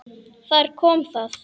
Þar kom það.